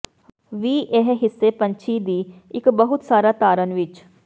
ਵੀ ਇਹ ਹਿੱਸੇ ਪੰਛੀ ਦੀ ਇੱਕ ਬਹੁਤ ਸਾਰਾ ਧਾਰਨ ਵਿੱਚ